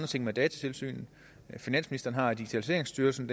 ting med datatilsynet finansministeren har digitaliseringsstyrelsen